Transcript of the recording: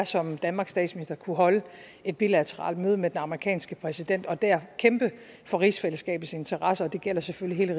som danmarks statsminister kunne holde et bilateralt møde med den amerikanske præsident og der kæmpe for rigsfællesskabets interesser og det gælder selvfølgelig